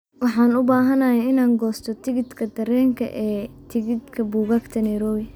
Waxaan u baahanahay inaan goosto tigidhka tareenka ee tigidhka buugaagta nairobi